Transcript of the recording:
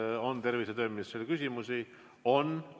Kas on tervise‑ ja tööministrile küsimusi?